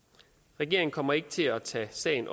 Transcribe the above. regeringen kommer ikke til at tage sagen